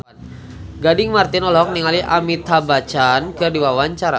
Gading Marten olohok ningali Amitabh Bachchan keur diwawancara